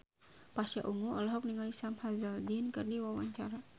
Pasha Ungu olohok ningali Sam Hazeldine keur diwawancara